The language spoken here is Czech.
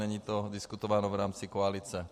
Není to diskutováno v rámci koalice.